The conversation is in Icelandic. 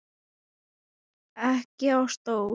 Ekki á stól.